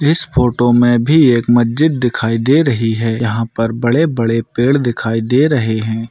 इस फोटो मे भी एक मस्जिद दिखाई दे रही है यहा पर बड़े-बड़े पेड़ दिखाई दे रहे है।